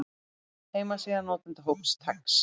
Heimasíða notendahóps TeX.